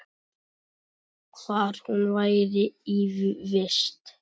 Hvar hún væri í vist.